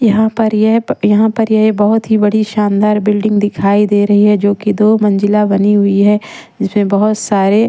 यहाँ पर ये बहुत ही बड़ी शानदार बिल्डिंग दिखाई दे रही है जो कि दो मंजिला बनी हुई है जिसमें बहुत सारे--